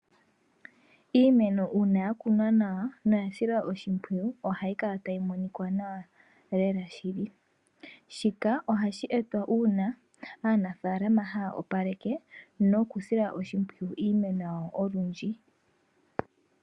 Iimeno una ya kunwa nawa noya silwa oshimpwiyu ohayi kala tayi monikwa nawa lela shili. Shika ohashi etwa una aanafalama haya opaleke noku sila oshimpwiyu iimeno yawo olundji.